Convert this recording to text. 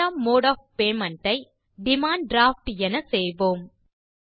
இரண்டாம் mode of payment ஐ demand draft என செய்வோம்